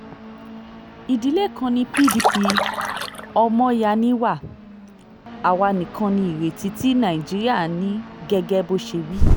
ìdílé kan ní pdp ọmọọ̀yà ni wá àwa nìkan ní ìrètí tí nàìjíríà ní gẹ́gẹ́ bó ṣe wí